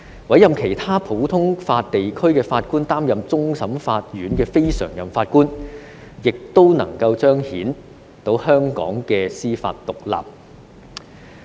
委任其他普通法地區的法官擔任終審法院非常任法官，方能夠彰顯香港的司法獨立。